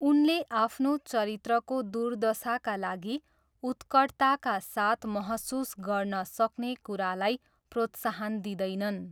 उनले आफ्नो चरित्रको दुर्दशाका लागि उत्कटताका साथ महसुस गर्न सक्ने कुरालाई प्रोत्साहन दिँदैनन्।